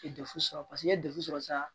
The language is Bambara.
I ye sɔrɔ paseke ni ye sɔrɔ sa